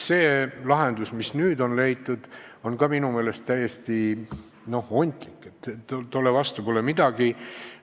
Lahendus, mis nüüd on leitud, on minu meelest täiesti ontlik, tolle vastu pole midagi.